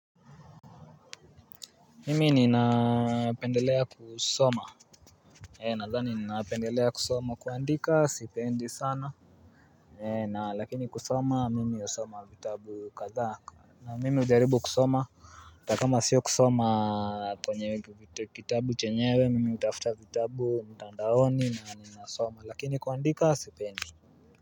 Mimi ninapendelea kusoma. Nadhani ninapendelea kusoma kuandika sipendi sana. Na lakini kusoma mimi usoma vitabu katha. Na mimi ujaribu kusoma. Na kama sio kusoma kwenye kitabu chenyewe mimi utafuta vitabu mtandaoni na ninasoma lakini kuandika sipendi.